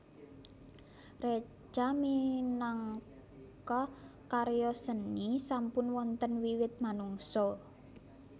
Reca minangka karya seni sampun wonten wiwit manungsa